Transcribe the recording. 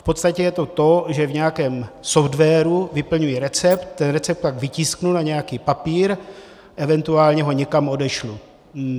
V podstatě je to to, že v nějakém softwaru vyplňuji recept, ten recept pak vytisknu na nějaký papír, eventuálně ho někam odešlu.